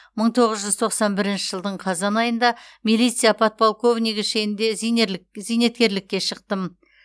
мың тоғыз жүз тоқсан бірінші жылдың қазан айында милиция подполковнигі шенінде зейнеткерлікке шықтым